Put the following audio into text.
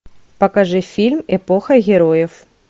покажи фильм эпоха героев